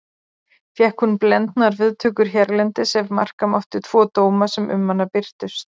Fékk hún blendnar viðtökur hérlendis ef marka mátti tvo dóma sem um hana birtust.